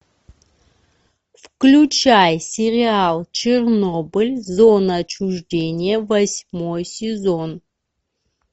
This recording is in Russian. включай сериал чернобыль зона отчуждения восьмой сезон